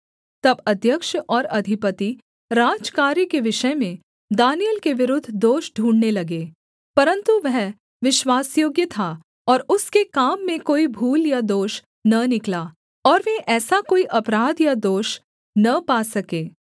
तब अध्यक्ष और अधिपति राजकार्य के विषय में दानिय्येल के विरुद्ध दोष ढूँढ़ने लगे परन्तु वह विश्वासयोग्य था और उसके काम में कोई भूल या दोष न निकला और वे ऐसा कोई अपराध या दोष न पा सके